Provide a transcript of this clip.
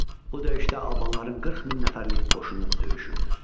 Bu döyüşdə albanların 40 min nəfərlik qoşunu döyüşürdü.